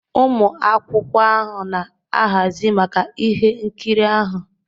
ụmụ akwụkwọ ahụ na-ahazi maka ihe nkiri ahụ